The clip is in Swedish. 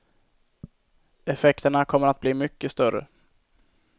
Effekterna kommer att bli mycket större.